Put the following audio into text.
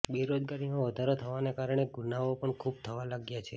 બેરોજગારીમાં વધારો થવાને કારણે ગુનાઓ પણ ખૂબ થાવ લાગ્યા છે